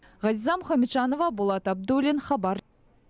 ғазиза мұхамеджанова болат абдуллин хабар